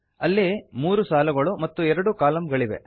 ಅಲ್ಲಿ 3 ಸಾಲುಗಳು ಮತ್ತು ಎರಡು ಕಾಲಂಗಳಿವೆ